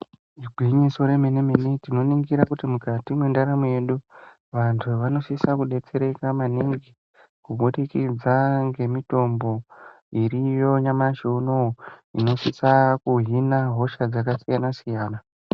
Igwinyiso remenemene, tinoningira kuti mukati mwendaramo yedu vanthu vanosisa kudetsereka maningi kubudikidza ngemithombo iriyo nyamashi unouyu inosisa kuhina hosha dzakasiyanasiyana.